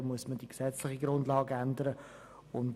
Dafür müsste die gesetzliche Grundlage geändert werden.